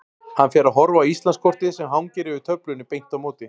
Hann fer að horfa á Íslandskortið sem hangir yfir töflunni beint á móti.